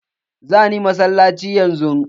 Za ni masallaci yanzu.